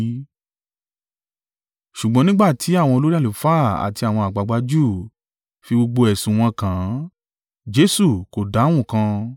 Ṣùgbọ́n nígbà tí àwọn olórí àlùfáà àti àwọn àgbàgbà Júù fi gbogbo ẹ̀sùn wọn kàn án, Jesu kò dáhùn kan.